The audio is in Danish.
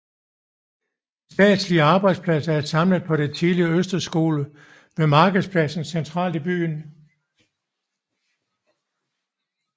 De statslige arbejdspladser er samlet på den tidligere Østre Skole ved Markedspladsen centralt i byen